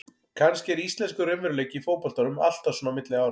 Kannski er íslenskur raunveruleiki í fótboltanum alltaf svona á milli ára.